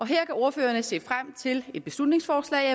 her kan ordførererne se frem til et beslutningsforslag